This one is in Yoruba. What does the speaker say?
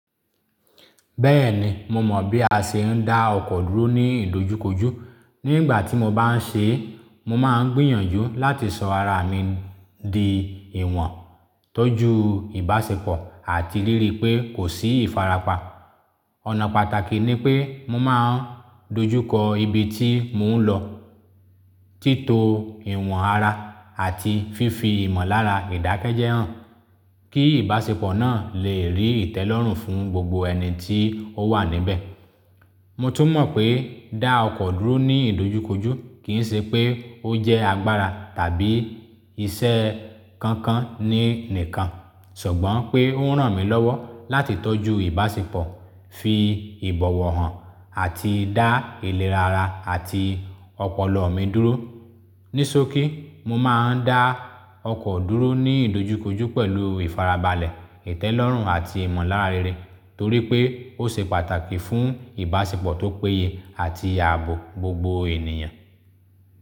Bẹ́ẹ̀ni, mo mọ̀ bí a ṣe ń dá ọkọ̀ dúró ní ìdojúkojú. Ní ìgbà tí mo bá ń ṣe é, mo máa ń gbìyànjú láti sọ ara mi di ìwọ̀n, tọ́jú ìbáṣepọ̀, àti rí rí i pé kò sí ìfarapa. Ọ̀nà pàtàkì ni pé mo máa ń dojúkọ ibi tí mo ń lọ, títo ìwọ̀n ara àti fífi ìmọ̀lára ìdákẹ́ jẹ́ hàn kí ìbáṣepọ̀ náà leè rí ìtẹ́lọ́rùn fún gbogbo eni tí ó wà níbẹ̀. Mo tún mọ̀ pé dá ọkọ̀ dúró ní ìdojúkojú kì ń ṣe pé ó jẹ́ agbára tàbí iṣẹ́ kankan ní nìkan, ṣùgbọ́n pé ó ń ràn mí lọ́wọ́ láti tọ́jú ìbáṣepọ̀, fi ìbọ̀wọ̀ hàn, àti dá ìlérí ara àti ọpọlọ mi dúró. Ní sókí, mo máa ń dá ọkọ̀ dúró ní ìdojúkojú pẹ̀lú ìfarabalẹ̀, ìtẹ́lọ́rùn àti ìmọ̀lára rere torí pé ó ṣe pàtàkì fún ìbáṣepọ̀ tó péye àti ààbò gbogbo ènìyàn.